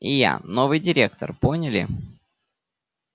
и я новый директор поняли